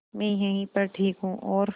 मैं यहीं पर ठीक हूँ और